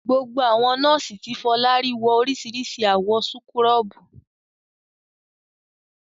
Gbogbo àwọn nọ́ọ́sì tí Fọlá rí wọ oríṣiríṣi àwọ̀ súkúrọ́bù.